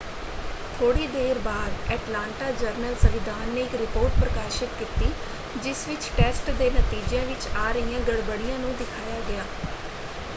ਥੋੜ੍ਹੀ ਦੇਰ ਬਾਅਦ ਐਟਲਾਂਟਾ ਜਰਨਲ-ਸੰਵਿਧਾਨ ਨੇ ਇੱਕ ਰਿਪੋਰਟ ਪ੍ਰਕਾਸ਼ਤ ਕੀਤੀ ਜਿਸ ਵਿੱਚ ਟੈਸਟ ਦੇ ਨਤੀਜਿਆਂ ਵਿੱਚ ਆ ਰਹੀਆਂ ਗੜਬੜੀਆਂ ਨੂੰ ਦਿਖਾਇਆ ਗਿਆ।